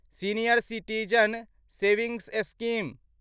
senior citizen savings scheme